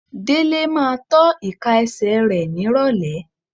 Délé máa tọ́ ìka ẹsẹ̀ rẹ nírọ̀lẹ́.